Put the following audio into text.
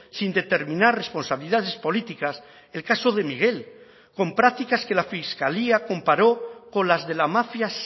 sin determinar responsabilidades políticas el caso de miguel con prácticas que la fiscalía comparó con las de la mafia